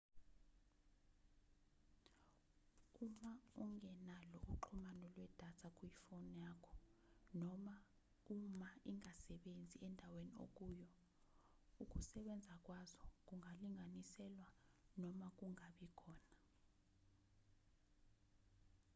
uma ungenalo uxhumano lwedatha kuyifoni yakho noma uma ingasebenzi endaweni okuyo ukusebenza kwazo kungalinganiselwa noma kungabi khona